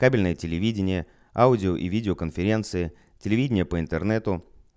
кабельное телевидение аудио и видеоконференций телевидение по интернету